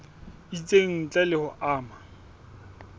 itseng ntle le ho ama